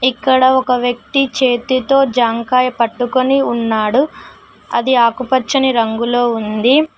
ఇక్కడ ఒక వ్యక్తి చేతితో జామకాయ పట్టుకొని ఉన్నాడు అది ఆకుపచ్చని రంగులో ఉంది.